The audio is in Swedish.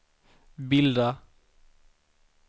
bilda